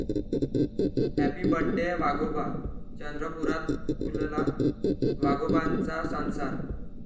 Happy birthday वाघोबा, चंद्रपुरात फुलला वाघोबांचा संसार!